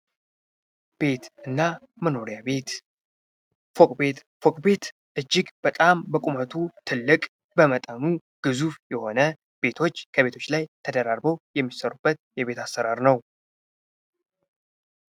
ቤት እና መኖሪያ ቤት ፎቅ ቤት ፎቅ ቤትእጅግ በጣም በቁመቱ ትልቅ በመጠኑም ብዙ የሆነ ቤቶች ከቤቶች ላይ ተደራርበው የሚሰሩበት የቤት አሰራር ነው።